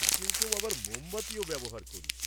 কেউ কেউ আবার মোমবাতিও ব্যবহার করি।